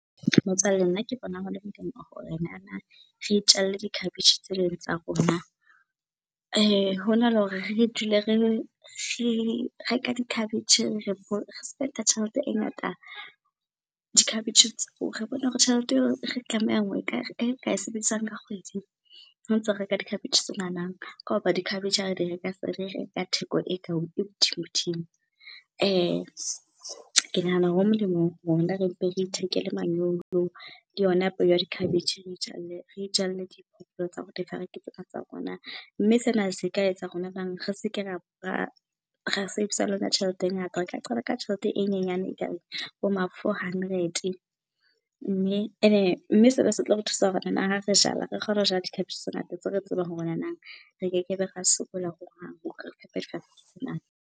Motswalle nna ke bona hole molemo hore nanang re itjelle dikhabetjhe tse eleng tsa rona hona le hore re dule re reka dikhabetje, re spend-a tjhelete e ngata dikhabetje . Re hore tjhelete eo re tlameha e ka e sebedisang ka kgwedi ho ntso reka dikhabetjhe tsenana ka hoba dikhabetje ha re di reka, sere reka theko e ka e hodimo-dimo. Ke nahana ho molemo rona re mpe re ithekele manyolo le yona peo ya dikhabetje re itjalle tsena tsa rona. Mme sena se ka etsa rona re seke sebedisa le yona tjhelete e ngata, re ka qala ka tjhelete e nyenyane ekang bo ma four hundred. Mme ene, mme sena se tlo re thusa hore nana ha re jala re kgone ho jala dikhabetje tse ngata tse re tsebang hore nanang re keke be ra sokola hohang .